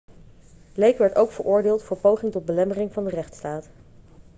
blake werd ook veroordeeld voor poging tot belemmering van de rechtstaat